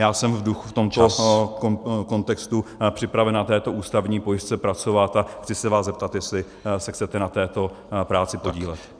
Já jsem v tomto kontextu připraven na této ústavní pojistce pracovat a chci se vás zeptat, jestli se chcete na této práci podílet.